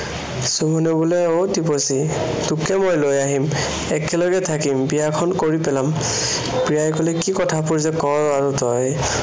সুমনে কলে, অ টিপচী, তোকে মই লৈ আহিম। একেলগে থাকিম। বিয়াখন কৰি পেলাম। প্ৰিয়াই কলে, কি কথাবোৰ যে কৱ আৰু তই